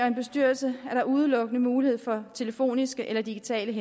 en bestyrelse er der udelukkende mulighed for at telefonisk eller digitalt